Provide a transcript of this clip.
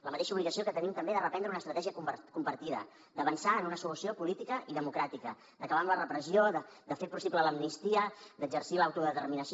la mateixa obligació que tenim també de reprendre una estratègia compartida d’avançar en una solució política i democràtica d’acabar amb la repressió de fer possible l’amnistia d’exercir l’autodeterminació